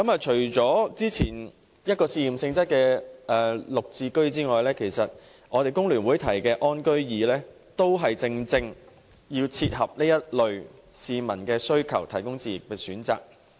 除了早前推出試驗性質的綠表置居先導計劃外，工聯會提議的"安居易"，亦正切合這類市民的需求，為他們提供置業的選擇。